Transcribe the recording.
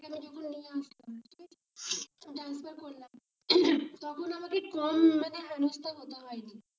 তখন আমাকে কম হেনস্থা হতে হয়নি,